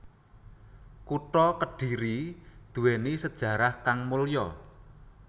Kutha Kedhiri duwéni sejarah kang mulya